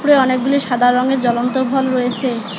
উপরে অনেকগুলি সাদা রঙের জ্বলন্ত ভলভ রয়েছে।